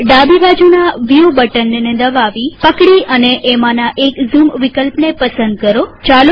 ઉપર ડાબીબાજુના view button ને દબાવીપકડી અને એમાંના એક ઝૂમ વિકલ્પને પસંદ કરો